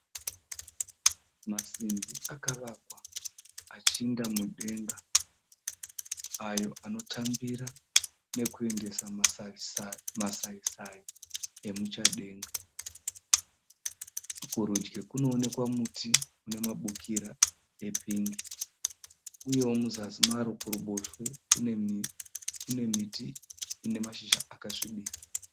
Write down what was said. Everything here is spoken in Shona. Masimbi akavakwa achinda mudenga ayo anotambira nokuendesa masayi sayi emuchadenga. Kurudyi kunoonekwa muti unemabukira epingi uyewo muzasi maro kuruboshwe kune miti ine mashizha akasvibira.